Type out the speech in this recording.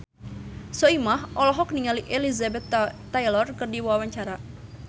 Soimah olohok ningali Elizabeth Taylor keur diwawancara